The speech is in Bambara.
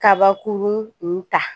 Kabakurun n ta